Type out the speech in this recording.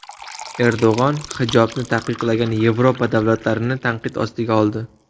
Erdo‘g‘on hijobni taqiqlagan Yevropa davlatlarini tanqid ostiga oldi.